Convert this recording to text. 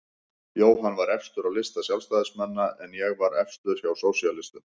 Jóhann var efstur á lista Sjálfstæðismanna en ég var efstur hjá sósíalistum.